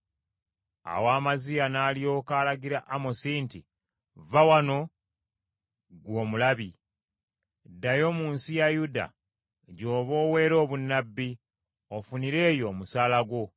Awo Amaziya n’alyoka alagira Amosi nti, “Vva wano ggwe omulabi . Ddayo mu nsi ya Yuda gy’oba oweera obunnabbi, ofunire eyo omusaala gwo.